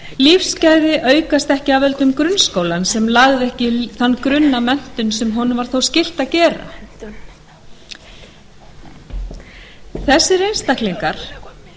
lífsgæði aukast ekki af völdum grunnskólans sem lagði ekki þann grunn að menntun sem honum var þó skylt að gera þessir einstaklingar